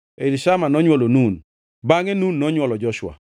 Elishama nonywolo Nun, bangʼe Nun nonywolo Joshua.